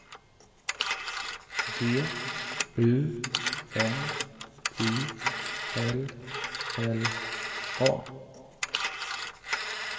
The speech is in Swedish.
G U N I L L A